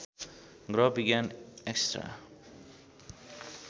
ग्रह विज्ञान एक्स्ट्रा